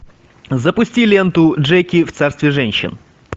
запусти ленту джеки в царстве женщин